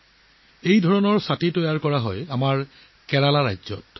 এই ছাতিবোৰ আমাৰ কেৰেলাত প্ৰস্তুত কৰা হৈছে